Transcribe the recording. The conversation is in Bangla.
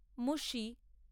মুসি।